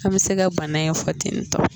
An bɛ se ka bana in fɔ ten tɔ